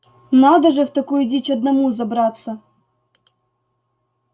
надо же в такую дичь одному забраться